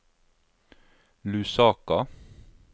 Lusaka